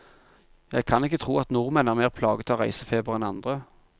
Jeg kan ikke tro at nordmenn er mer plaget av reisefeber enn andre.